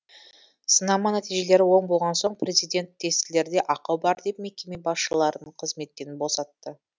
сынама нәтижелері оң болған соң президент тестілерде ақау бар деп мекеме басшыларын қызметтен босатты